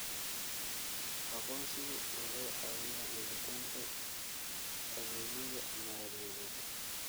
Aqoonsigu wuxuu caawiyaa helitaanka adeegyada maaliyadeed.